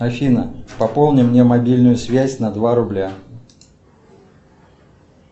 афина пополни мне мобильную связь на два рубля